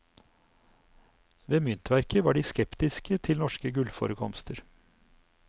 Ved myntverket var de skeptiske til norske gullforekomster.